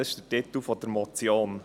Das ist der Titel dieser Motion.